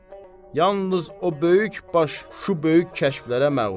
Yalnız o böyük baş, şu böyük kəşflərə məğrur.